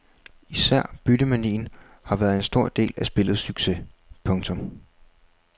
Især byttemanien har været en stor del af spillets succes. punktum